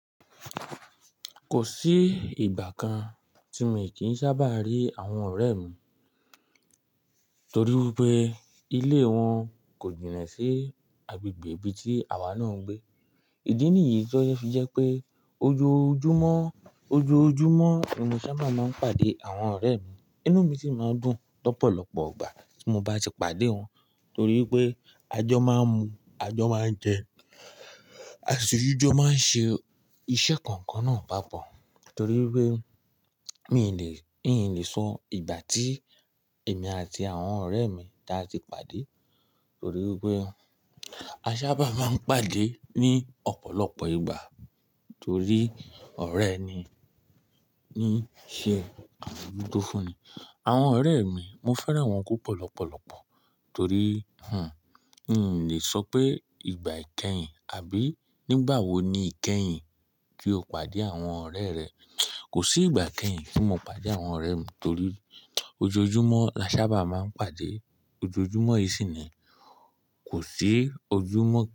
Kò sí ìgbà kan tí mi kì í sábà rí àwọn ọ̀rẹ́ mi torí wi pé ilé wọn kò jìnà sí agbègbè ibi tí àwa náà ń gbé. Ìdí nìyí o fi jẹ́ pé ojoojúmọ́, ojoojúmọ́ ni mo sábà máa ń pàdé àwọn ọ̀rẹ́ mi. Inú mi sì máa ń dùn lọ́pọ̀lọpọ̀ ìgbà tí mo bá ti pàdé wọn torí pé a jọ máa ń mu, a jọ máa ń jẹ, a sì tu jọ máa ń ṣe iṣẹ́ kankan náà papọ̀. Torí wi pé n ò lè, n ò lè sọ ìgbà tí èmi àti àwọn ọ̀rẹ́ mi tà ti pàdé torí wi pé a sábà máa ń pàdé ní ọ̀pọ̀lọpọ̀ ìgbà torí ọ̀rẹ́ ni, ní í ṣe àmojuto fúnni. Àwọn ọ̀rẹ́ mi, mo fẹ́ràn wọn púpọ̀ lọ́pọ̀lọpọ̀ torí, hmm, n ò lè sọ pé ìgbà ìkẹyìn àbí nígbàwo ni ìkẹyìn kí o pàdé àwọn ọ̀rẹ́ rẹ. Kò sí ìgbà ìkẹyìn tí mo pàdé àwọn ọ̀rẹ́ mi torí ojoojúmọ́ la sábà máa ń pàdé. Ojoojúmọ́ yìí sì ni, kò sí ojúmọ́ kan.